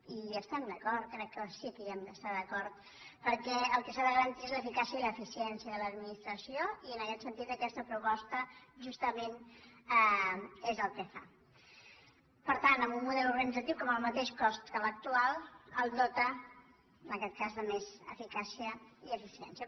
i hi estem d’acord crec que sí que hi hem d’estar d’acord perquè el que s’ha de garantir és l’eficàcia i l’eficiència de l’administració i en aquest sentit aquesta proposta justament és el que fa per tant amb un model organit·zatiu que amb el mateix cost que l’actual el dota en aquest cas de més eficàcia i eficiència